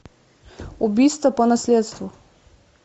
убийство по наследству